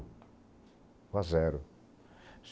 Ficou a zero.